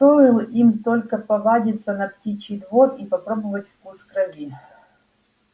стоил им только повадиться на птичий двор и попробовать вкус крови